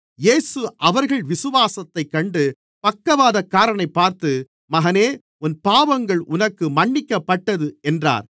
இயேசு அவர்கள் விசுவாசத்தைக் கண்டு பக்கவாதக்காரனைப் பார்த்து மகனே உன் பாவங்கள் உனக்கு மன்னிக்கப்பட்டது என்றார்